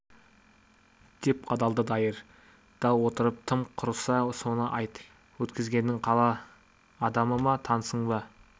деп қадалды дайыр да отырып тым құрса соны айт өткізгенің қала адамы ма танысың ба